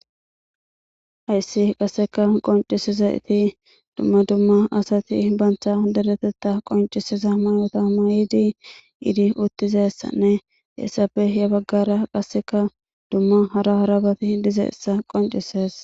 Hayssi qasseka qoncisiza iti dumma dumma asati bantha hodadetetta qoncisiza mayota mayidi iidi uttizessanne essappe he baggara qasseka dumma hara harabati dizeessa qoncises